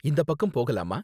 இந்தப் பக்கம் போகலாமா?